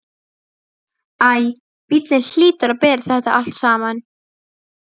Æ, bíllinn hlýtur að bera þetta allt saman.